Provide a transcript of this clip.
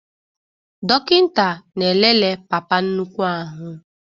Dọkịta na-elele papa nnukwu ahụ